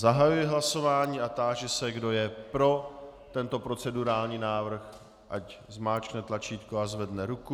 Zahajuji hlasování a táži se, kdo je pro tento procedurální návrh, ať zmáčkne tlačítko a zvedne ruku.